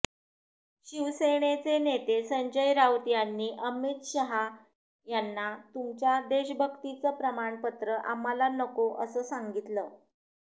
शिवसेनेचे नेते संजय राऊत यांनी अमित शहा यांना तुमच्या देशभक्तीचं प्रमाणपत्र आम्हाला नको असं सांगितलं